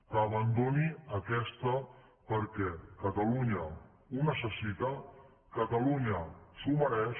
que abandoni aquesta perquè catalunya ho necessita catalunya s’ho mereix